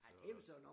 Så